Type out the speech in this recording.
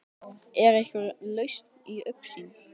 Er einhver lausn í augsýn?